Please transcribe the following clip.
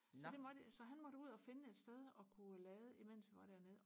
så det måtte så han måtte ud og finde et sted og kunne lade imens vi var dernede